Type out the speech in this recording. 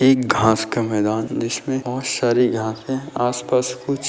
एक घास का मैदान जिसमे बहुत सारी घास है आस पास कु--